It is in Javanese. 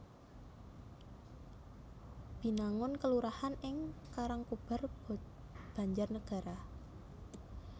Binangun kelurahan ing Karangkobar Banjarnegara